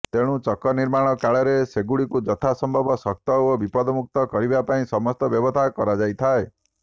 ତେଣୁ ଚକନିର୍ମାଣ କାଳରେ ସେଗୁଡ଼ିକୁ ଯଥାସମ୍ଭବ ଶକ୍ତ ଓ ବିପଦମୁକ୍ତ କରିବାପାଇଁ ସମସ୍ତ ବ୍ୟବସ୍ଥା କରାଯାଇଥାଏ